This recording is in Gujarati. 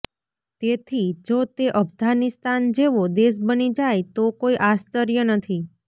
તેથી જો તે અફઘાનિસ્તાન જેવો દેશ બની જાય તો કોઈ આશ્ચર્ય નહીં